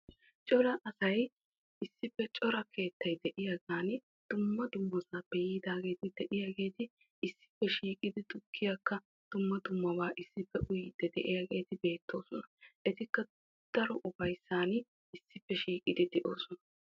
Nu heeran cora keettay de'iyaagetti ubbay issippe shiiqiddi tukkiya uyosonna. Ettikka dumma dumma ufayssan uyosonna.